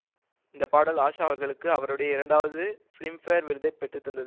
இந்தப்பாடல் ஆஷா அவர்களுக்கு அவருடைய இரண்டாவது பிலிம்ஃபேர் விருதை பெற்றுத்தந்தது